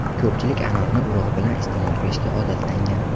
Ko‘pchilik anorni urug‘i bilan iste’mol qilishga odatlangan.